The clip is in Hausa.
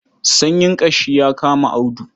Sanyin ƙashi ya kama Audu.